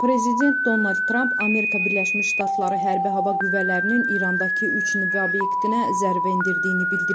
Prezident Donald Tramp Amerika Birləşmiş Ştatları Hərbi Hava Qüvvələrinin İrandakı üç nüvə obyektinə zərbə endirdiyini bildirib.